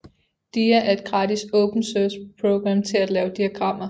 Dia er et gratis open source program til at lave diagrammer